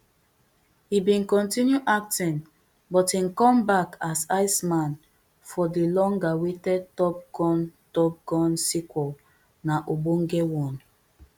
e bin continue acting but im comeback as iceman for di longawaited top gun top gun sequel na ogbone one